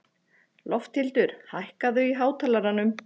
Lofthildur, hækkaðu í hátalaranum.